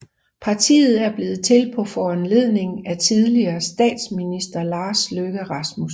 Partiet er blevet til på foranledning af tidligere statsminister Lars Løkke Rasmussen